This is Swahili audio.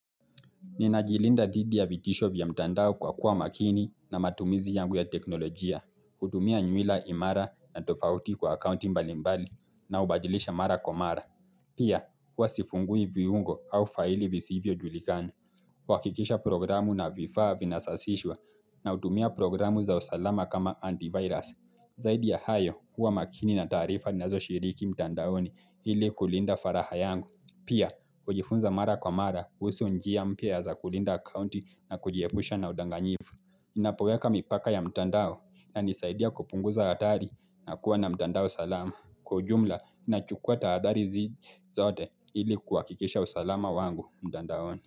Ninajilinda dhidi ya vitisho vya mtandao kwa kuwa makini na matumizi yangu ya teknolojia. Kutumia nywila imara na tofauti kwa akaunti mbali mbali ninaobadilisha mara kwa mara. Pia, huwa sifungui viungo au faili visivyojulikani. Kuhakikisha programu na vifaa vinasasishwa na hutumia programu za usalama kama antivirus. Zaidi ya hayo, huwa makini na taarifa ninazoshiriki mtandaoni ili kulinda faraha yangu. Pia, kujifunza mara kwa mara, kuhusu njia mpya za kulinda akaunti na kujiepusha na udanganyifu. Ninapoweka mipaka ya mtandao inanisaidia kupunguza hatari na kuwa na mtandao salama. Kwa ujumla, nachukua tahadari hizi zote ili kuhakikisha usalama wangu mtandaoni.